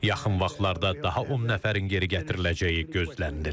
Yaxın vaxtlarda daha 10 nəfərin geri gətiriləcəyi gözlənilir.